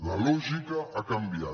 la lògica ha canviat